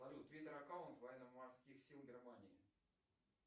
салют твиттер аккаунт военно морских сил германии